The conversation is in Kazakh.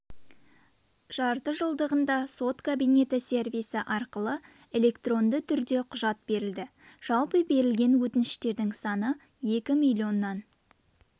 жартыжылдығында сот кабинеті сервисі арқылы электронды түрде құжат берілді жалпы берілген өтініштердің саны екі миллионнан